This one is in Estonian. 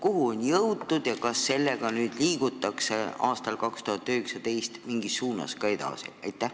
Kuhu on jõutud ja kas sellega liigutakse aastal 2019 mingis suunas edasi?